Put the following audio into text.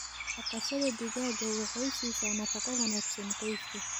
Dhaqashada digaaga waxay siisaa nafaqo wanaagsan qoyska.